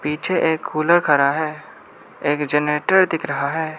पीछे एक कुलर खड़ा है एक जनरेटर दिख रहा है।